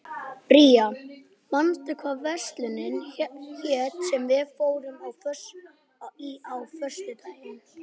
Bría, manstu hvað verslunin hét sem við fórum í á föstudaginn?